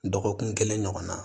Dɔgɔkun kelen ɲɔgɔnna